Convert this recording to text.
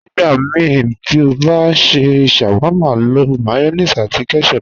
Nígbàmíí tí o bá n ṣẹ́ sháwárma, ló mayonéèsì àti ketchup.